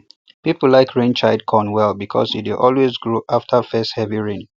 people like rainchild corn well because e dey always grow after first heavy rain